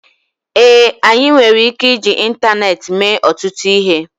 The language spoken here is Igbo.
ee, anyị nwere ike iji ịntaneetị mee ọtụtụ ihe